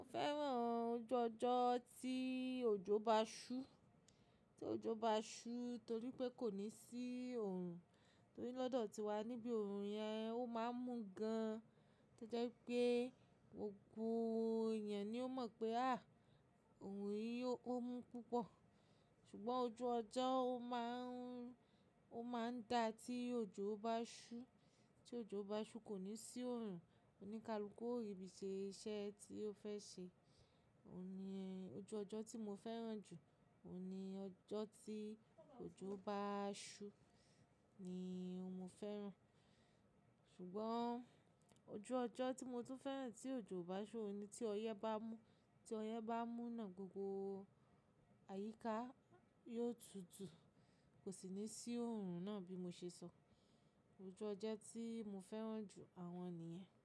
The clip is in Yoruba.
Mo fẹ́ràn ojú ọjọ́ tí òjò bá ṣú, tí òjò bá ṣú torí pé kò ní sí òòrùn, torí lọ́dọ̀ tiwa níbi òòrùn yẹn ó máa ń mú gan-an to jẹ́ wipé gbogbo èèyàn ni ó mọ̀ pé à, òòrùn yìí ó mú púpọ̀. Ṣùgbọ́n ojú ọjọ́ ó máa ń, ó máa ń da tí òjò bá ṣú, tí òjò bá ṣú kò ní sí òòrùn, o ní kalùkù o ribí i ṣe iṣẹ́ tí o fẹ́ ṣe. Ó ní ẹ́, ojú ọjọ́ tí mo fẹ́ràn jù, òní ọjọ́ tí òjò bá ṣú ni mo fẹ́ràn. Ṣùgbọ́n ojú ọjọ́ tí mo tún fẹ́ràn tí òjò bá ṣú ni tí ọyẹ́ bá mú, tí ọyẹ́ bá mú náà gbogbo àyíká yóò tutù, kò sì ní sí òòrùn náà bí mo ṣe sọ. Ojú ọjọ́ tí mo fẹ́ràn jù àwọn nìyẹn.